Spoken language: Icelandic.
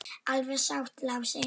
Alveg satt, Lási.